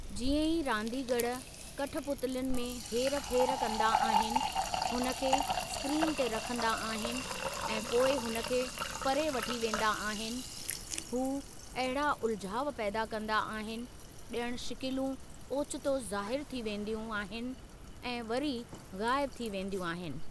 जीअं ई रांदीगर कठपुतलियुनि में हेरफे़रु कंदा आहिनि, हुन खे स्क्रीन ते रखंदा आहिनि ऐं पोइ हुन खे परे वठी वेंदा आहिनि, हूअ अहिड़ा उलिझाउ पैदा कंदा आहिनि ज॒णु शिकिलूं ओचितो ज़ाहिर थी वेंदियूं आहिनि ऐं वरी ग़ायबु थी वेंदियूं आहिनि।